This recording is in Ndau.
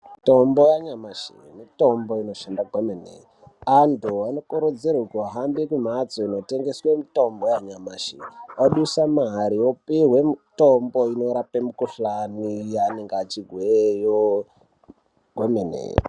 Mitombo yanyamashi mitombo inoshanda kwemene anthu anokurudzirwe kuhambe kumhatso inotengeserwe mitombo yanyamashi odusa mare opuhwe mitombo inorape mikuhlani yaanenge achizweyo kwemene.